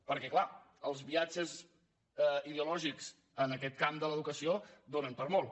perquè clar els viatges ideològics en aquest camp de l’educació donen per a molt